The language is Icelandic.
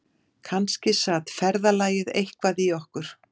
Kannski sat ferðalagið eitthvað í okkur